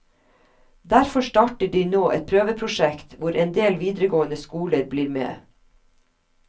Derfor starter de nå et prøveprosjekt hvor endel videregående skoler blir med.